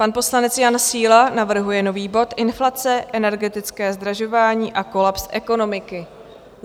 Pan poslanec Jan Síla navrhuje nový bod Inflace, energetické zdražování a kolaps ekonomiky.